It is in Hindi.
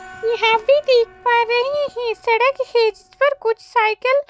यहां पे देख पा रहे हैं सड़क हे जिस पर कुछ साइकिल --